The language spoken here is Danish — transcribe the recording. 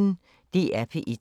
DR P1